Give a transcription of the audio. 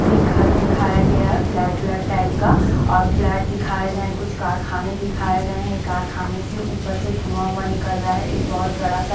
एक घर दिखाया गया है फ्लैट ब्लैट टाइप का और फ्लैट दिखाए गए हैं कुछ कारखाने दिखाए गए हैं कारखाने से ऊपर से धुआ हुआ निकल रहा है एक बहुत बड़ा स--